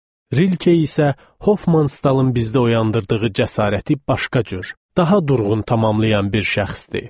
Rilke isə Hoffmanstalın bizdə oyandırdığı cəsarəti başqa cür, daha durğun tamamlayan bir şəxsdir.